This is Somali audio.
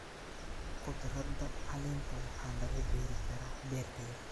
Khudradda caleenta waxaa lagu beeri karaa beerta yar.